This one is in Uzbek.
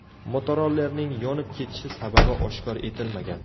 Motorollerning yonib ketishi sababi oshkor etilmagan.